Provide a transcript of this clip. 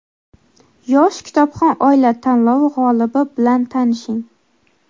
"Yosh kitobxon oila" tanlovi g‘olibi bilan tanishing.